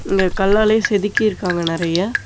இங்க கல்லாலே செதுக்கி இருக்காங்க நெறையா.